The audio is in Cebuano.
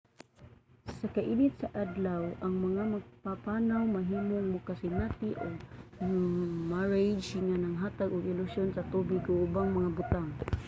sa kainit sa adlaw ang mga magpapanaw mahimong makasinati og mirage nga naghatag og ilusyon sa tubig o ubang mga butang